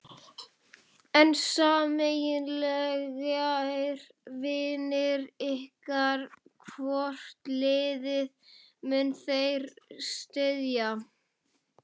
En sameiginlegir vinir ykkar, hvort liðið munu þeir styðja?